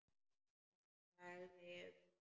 Hún þagði um hríð.